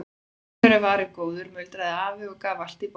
Allur er varinn góður muldraði afinn og gaf allt í botn.